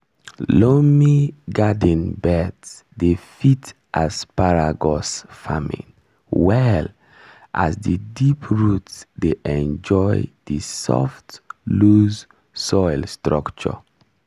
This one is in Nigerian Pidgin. loamy garden beds dey fit asparagus farming well as di deep root dey enjoy di soft loose soil structure.